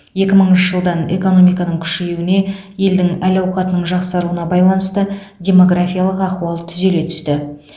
екі мыңыншы жылдан экономиканың күшеюіне елдің әл әуқатының жақсаруына байланысты демографиялық ахуал түзеле түсті